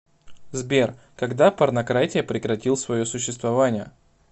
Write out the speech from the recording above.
сбер когда порнократия прекратил свое существование